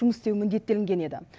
жұмыс істеуі міндеттелінген еді